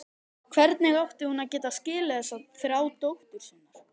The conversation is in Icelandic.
Hvernig átti hún að geta skilið þessa þrá dóttur sinnar?